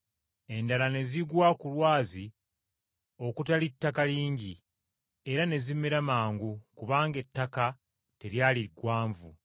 Endala ne zigwa ku lwazi okutali ttaka lingi era ne zimera mangu kubanga ettaka teryali ggwanvu.